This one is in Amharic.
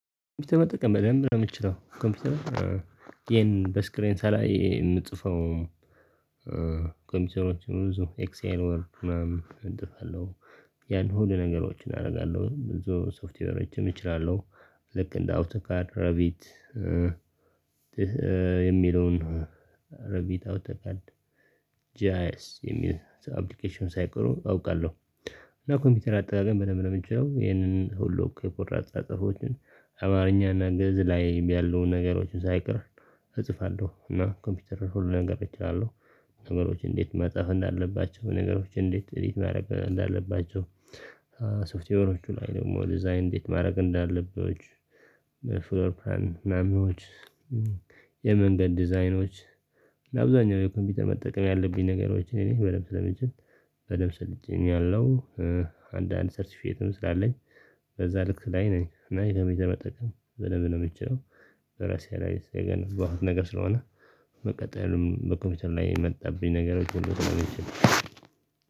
ኮምፒውተር መጠቀም በደንብ ነው የምችለው ኮምፒውተር ይሄን በስክሪን ሳላይ የምጽፈው ኮምፒውተሮች ብዙ ኤክስኤል ወርክ ምናምን እንጥፋለሁ ያን ሁሉ ነገሮችን አደርጋለሁ ብዙ ሶፍትዌሮችም እችላለሁ። ልክ እንደ አውቶካድ ረቢት የሚለውን ረቢታው ተቃልድ ጂአይስ የሚል አፕሊኬሽን ሳይቀሩ አውቃለሁ እና ኮምፒውተር አጠቃቀም ብደንብ ነው ምችለው ይህንን ሁሉ እኮ የፖርታ አጥራጥፎችን አማርኛና ግእዝ ላይ ያለውን ነገሮችን ሳይቀር እጽፋለሁ እና ኮምፒውተር ሁሉ ነገር እችላለሁ ነገሮች እንዴት መጽሐፍ እንዳለባቸው በነገሮች እንዴት እንዴት ማድረግ እንዳለባቸው ሶፍትዌሮቹ ላይ ደግሞ ዲዛይን እንዴት ማድረግ እንዳለብህ ፍሎርፕራን ማሚዎች የመንገድ ዲዛይኖች ለአብዛኛው የኮምፒውተር መጠቀም ያለብኝ ነገሮችን የኔ በደንብ ስለምችል በደንብ ስልጥኛለው አንዳንድ ሰርቲፊየት ትመስላለኝ በዛ ልክ ላይ ነኝ እና የተመጠቀም በደንብ ነ የምትችለው በራሴ ላይ ስለገነባህ ነገር ስለሆነ መቀጠልም በኮምፒውተር ላይ የመጣብኝ ነገሮች ሁሉ ተመልሼ